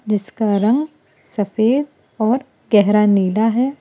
जिसका रंग सफेद और गहरा नीला है।